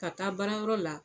Ka taa baarayɔrɔ la